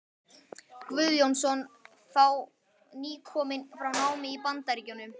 Guðjónsson, þá nýkominn frá námi í Bandaríkjunum.